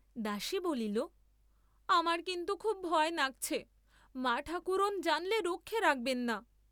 দাসী বলিল আমার কিন্তু খুব ভয় নাগছে, মাঠাকরুণ জানলে রক্ষে রাখবেন না।